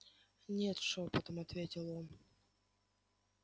нет шёпотом ответил он